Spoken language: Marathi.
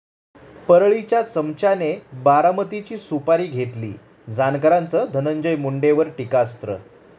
परळी'च्या चमच्याने 'बारामती'ची सुपारी घेतली, जानकरांचं धनंजय मुंडेंवर टीकास्त्र